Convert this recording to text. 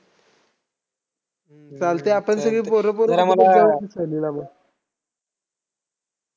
चालतंय आपण सगळे पोरं पोरं जाऊया की सहलीला मग.